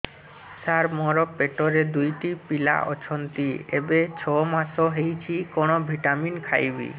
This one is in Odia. ସାର ମୋର ପେଟରେ ଦୁଇଟି ପିଲା ଅଛନ୍ତି ଏବେ ଛଅ ମାସ ହେଇଛି କଣ ଭିଟାମିନ ଖାଇବି